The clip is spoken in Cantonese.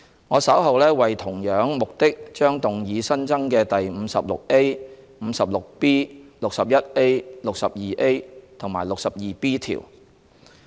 我稍後為同樣目的將動議新增的第 56A、56B、61A、62A 及 62B 條。